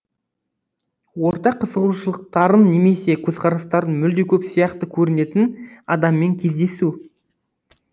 ортақ қызығушылықтарың немесе көзқарастарың мүлде көп сияқты көрінетін адаммен кездесу